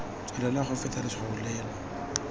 tswelela go feta letshwao leno